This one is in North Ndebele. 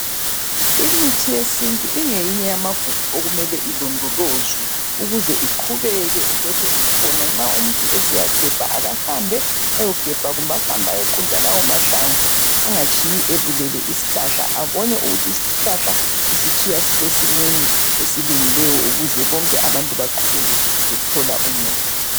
Imithi yesintu ingeyinye yamagugu okumele ilondolozwe ukuze iqhubeke ilokhe ikhona. Nxa umuntu esiyagebha, akahambe ayogebha kumbe ahambe ayoqunta lawo mahlamvu angatshiyi ebulele isihlahla ,abone ukuthi isihlahla usitshiya sisesimeni esilungileyo ukuze bonke abantu beqhubeke bethola umuthi.